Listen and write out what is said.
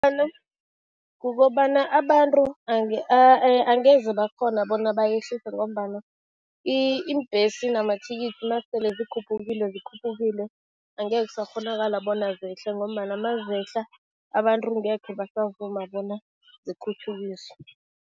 Kukobana abantu angeze bakghona bona bayehlise ngombana iimbhesi namathikithi nasele zikhuphukile, zikhuphukile. Angeke kusakghonakala bona zehle ngombana mazehla, abantu angekhe basavuma bona zikhutjhukiswe.